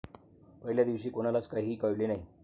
पहिल्या दिवशी कोणालाच काहीही कळले नाही.